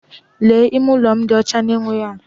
Leenụ! Ime ụlọ m dị ọcha na-enweghị atú!